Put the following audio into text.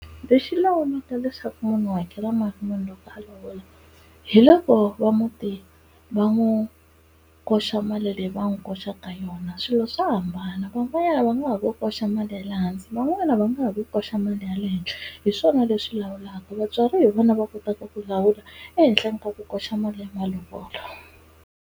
Lexi lawulaka leswaku munhu u hakela mali muni loko a lovola hi leswo va muti va n'wi koxa mali leyi va n'wi koxaka yona. Swilo swa hambana van'wanyana va nga ha ku koxa mali ya le hansi van'wana va nga ha ku koxa mali ya le henhla. Hi swona leswi lawulaka. Vatswari hi vona va kotaka ku lawula ehenhleni ka ku koxa mali ya malovolo.